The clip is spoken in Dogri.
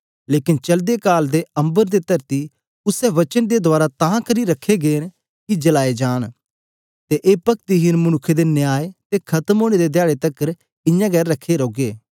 लेकन चलदे काल दे अम्बर अते तरती उसै वचन दे रहें तां करी रखे गे न कि जलाए जान अते ए पक्तिहेन मनुक्खे दे न्याय अते खत्म होने दे धयारे तकर ऐसे हे रखे रौन गे